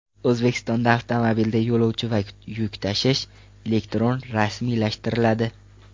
O‘zbekistonda avtomobilda yo‘lovchi va yuk tashish elektron rasmiylashtiriladi.